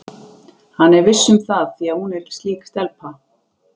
Hann er viss um það því að hún er slík stelpa.